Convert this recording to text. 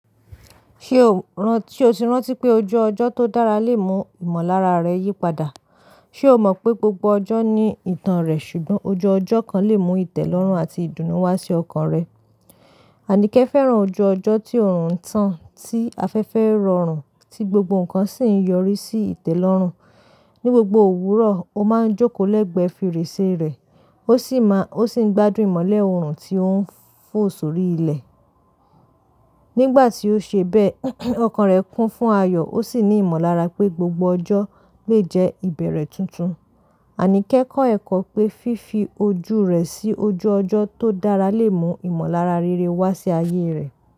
Ṣé oti rántí pé ojú ọjọ́ tó dára lè mú ìmọ̀lára rẹ yípadà? Sé o mọ̀ pé gbogbo ọjọ́ ní ìtàn rẹ̀, ṣùgbọ́n ojú ọjọ́ kan lè mú ìtẹ́lọ́rùn àti ìdùnnú wá sí ọkàn rẹ? Anike fẹ́ràn ojú ọjọ́ tí òòrùn ń tán, tí afẹ́fẹ́ ń rọrùn, tí gbogbo nǹkan sì ń yọrí sí ìtẹ́lọ́rùn. Ni gbogbo òwúrọ̀, ó máa ń jókòó lẹ́gbẹ̀ẹ́ fèrèsé rẹ̀, ó sì ń gbádùn ìmọ̀lé òòrùn tó ń fò sórí ilẹ̀. Ni ìgbà tí ó ṣe bẹ́ẹ̀, ọkàn rẹ kún fún ayọ̀, ó sì ní ìmọ̀lára pé gbogbo ọjọ́ lè jẹ́ ìbẹ̀rẹ̀ tuntun. Anike kọ́ ẹ̀kọ́ pé fífi ojú rẹ̀ sí ojú ọjọ́ tó dára lè mú ìmọ̀lára rere wá sí ayé rẹ̀.